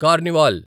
carnival